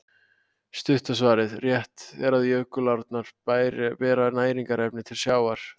Stutta svarið: Rétt er að jökulárnar bera næringarefni til sjávar.